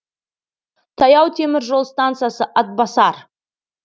таяу темір жол стансасы атбасар